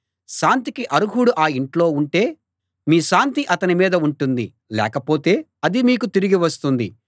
శాంతికి అర్హుడు ఆ ఇంట్లో ఉంటే మీ శాంతి అతని మీద ఉంటుంది లేకపోతే అది మీకు తిరిగి వస్తుంది